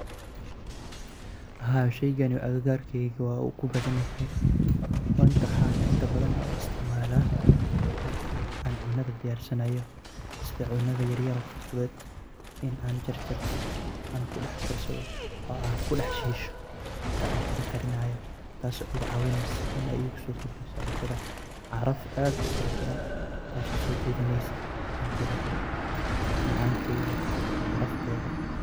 Haa sheygan agagargeyga wu kubadanyahay waxaa inta badan la isticmala marki an cunada diyar sanayo sitha wax yalaha yar yar oo fudud oo an kudax shisho waxee iga cawineysa in ee isokordiso caraf aad ufara badan tas oo sojidaneysa cuntaada macankeeda iyo carafteeda.